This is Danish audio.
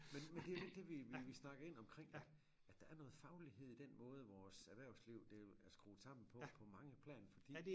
Men men det jo lidt det vi vi vi snakker ind omkring at der er noget faglighed i den måde vores erhvervsliv det er skruet sammen på på mange planer fordi